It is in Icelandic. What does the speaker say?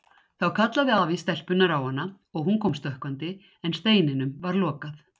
Þá kallaði afi stelpunnar á hana og hún kom stökkvandi en steininum var lokað.